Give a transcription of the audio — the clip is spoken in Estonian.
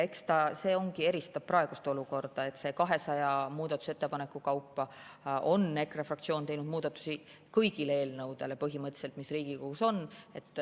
Eks ta nii ongi, et see eristab praegust olukorda, et 200 muudatusettepaneku kaupa on EKRE fraktsioon esitanud muudatusi põhimõtteliselt kõigi eelnõude puhul, mis Riigikogus on.